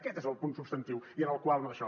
aquest és el punt substantiu i en el qual no daixò